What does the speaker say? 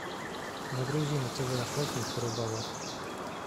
загрузи на тв охотник и рыболов